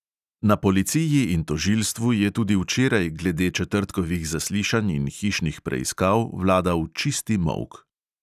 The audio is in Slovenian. Na policiji in tožilstvu je tudi včeraj glede četrtkovih zaslišanj in hišnih preiskav vladal "čisti molk".